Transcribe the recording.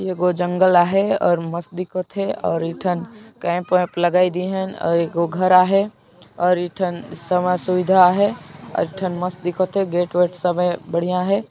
एगो जंगल आहे और मस्त दिखोथे और एठन कैम्प वैम्प लगाय दिन हैं और एगो घर आहाय और एठन सबो सुविधा है और एठन मस्त दिखोथे गेट वेट सबे बढ़िया है |